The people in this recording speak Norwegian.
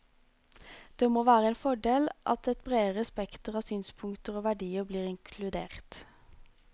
Det må være en fordel at et bredere spekter av synspunkter og verdier blir inkludert.